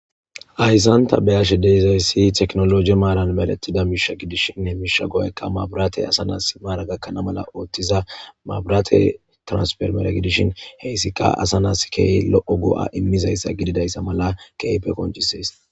Hayssan ta beyashe dizayssi tekinoloje maaran medhetida he miishsha go'ayikka maabiratey asa nas maaran gakana mala ooththiza maabirate transporimere gidishin he izikka asa nas lo'o go'a iimizayssa gdidayssa mala keehippe qonccises